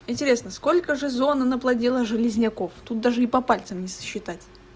интересно сколько же зона наплодила железняков тут даже и по пальцам не сосчитать